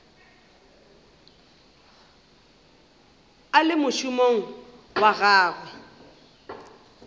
a le mošomong wa gagwe